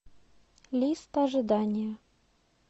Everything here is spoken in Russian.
лист ожидания